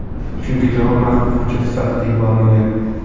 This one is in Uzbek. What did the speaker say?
Chunki javob maxfiy hujjat sifatida yuborilgan.